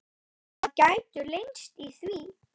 Það gætu leynst í því.